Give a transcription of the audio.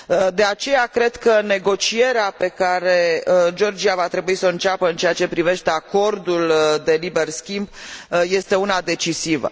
De aceea, cred că negocierea pe care Georgia va trebui să o înceapă în ceea ce privește acordul de liber schimb este una decisivă.